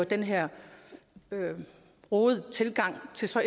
den her rodede tilgang til så